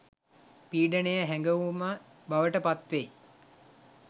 පීඩනය හැඟවුම බවට පත්වෙයි